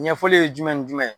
Ɲɛfɔli ye jumɛn ni jumɛn